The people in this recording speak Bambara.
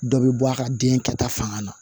Dɔ bɛ bɔ a ka den kɛta fanga na